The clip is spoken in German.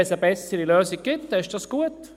Wenn es eine bessere Lösung gibt, ist es gut.